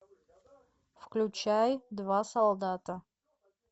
включай два солдата